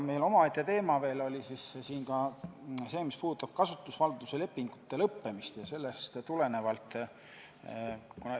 Omaette teema oli ka see, mis puudutab kasutusvalduse lepingute lõppemist.